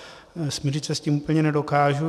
Smířit se s tím úplně nedokážu.